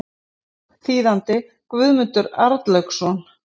Þýðandi Guðmundur Arnlaugsson.